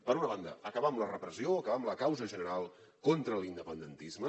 per una banda acabar amb la repressió o acabar amb la causa general contra l’independentisme